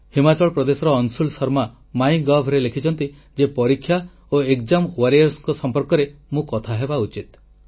ହିମାଚଳ ପ୍ରଦେଶର ଅଂଶୁଳ ଶର୍ମା MyGovରେ ଲେଖିଛନ୍ତି ଯେ ପରୀକ୍ଷା ଓ ଏକ୍ସାମ୍ ୱାରିୟର ସଂପର୍କରେ ମୁଁ କଥା ହେବା ଉଚିତ